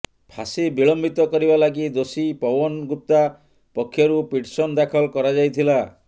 ଫାଶୀ ବିଳମ୍ବିତ କରିବା ଲାଗି ଦୋଷୀ ପୱନ ଗୁପ୍ତା ପକ୍ଷରୁ ପିଟିଶନ ଦାଖଲ କରାଯାଇଥିଲା